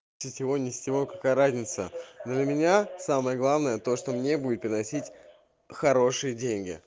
сетевой не сетевой какая разница для меня самое главное то что мне будет приносить хорошие деньги